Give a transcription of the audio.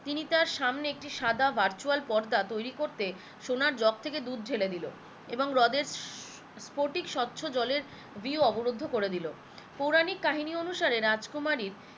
তিনি তার সামনে একটি সাদা virtual পর্দা তৈরী করতে সোনার জক থেকে দুধ ঢেলে দিলো এবং হ্রদেরফটিক স্বচ্ছ জলের view অবরুদ্ধ করে দিলো, পৌরাণিক কাহিনী অনুসারে রাজকুমারীর